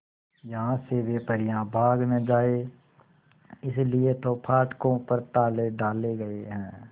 यहां से वे परियां भाग न जाएं इसलिए तो फाटकों पर ताले डाले गए हैं